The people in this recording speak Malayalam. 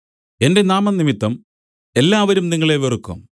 എന്റെ നാമംനിമിത്തം എല്ലാവരും നിങ്ങളെ വെറുക്കും